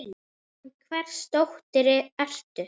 Já, en hvers dóttir ertu.?